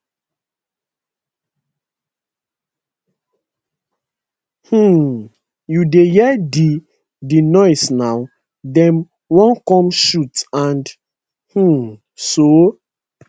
um you dey hear di di noise now dem wan come shoot and um soo